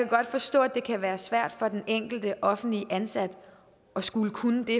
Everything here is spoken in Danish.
godt forstå at det kan være svært for den enkelte offentligt ansatte at skulle kunne det